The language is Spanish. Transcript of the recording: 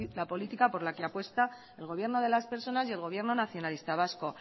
la política por la que apuesta el gobierno de las personas y el gobierno nacionalista vasco